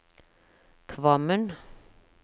Kvammen